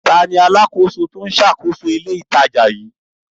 Ta ni alákòóso tó ń ṣàkóso ilé-ìtajà yìí?